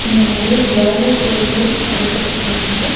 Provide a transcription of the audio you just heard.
இங்க நறைய பிராய்லர் கோழிகள் அடைக்கப்பட்டுருக்கு.